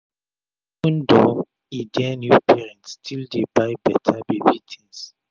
even though e dear new parents still dey buy beta baby tins